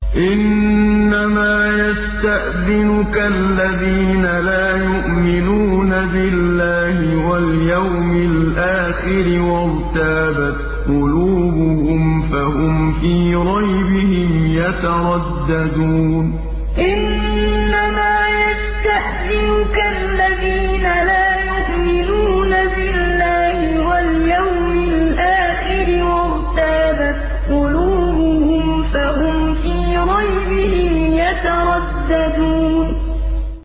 إِنَّمَا يَسْتَأْذِنُكَ الَّذِينَ لَا يُؤْمِنُونَ بِاللَّهِ وَالْيَوْمِ الْآخِرِ وَارْتَابَتْ قُلُوبُهُمْ فَهُمْ فِي رَيْبِهِمْ يَتَرَدَّدُونَ إِنَّمَا يَسْتَأْذِنُكَ الَّذِينَ لَا يُؤْمِنُونَ بِاللَّهِ وَالْيَوْمِ الْآخِرِ وَارْتَابَتْ قُلُوبُهُمْ فَهُمْ فِي رَيْبِهِمْ يَتَرَدَّدُونَ